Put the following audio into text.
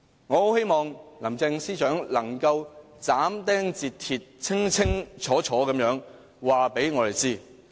我很希望林鄭司長能夠斬釘截鐵，清清楚楚告訴我們。